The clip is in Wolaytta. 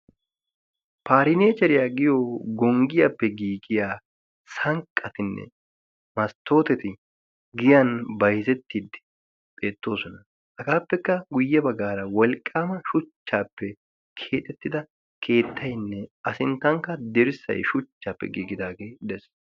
parineecheriyaa giyo gonggiyaappe giigiya sanqqatinne masttoteti giyan bayzettiddi beettoosona. hagaappekka guyye baggaara wolqqaama shuchchaappe keexettida keettaynne a sinttankka dirssay shuchchaappe giigidaagee dees.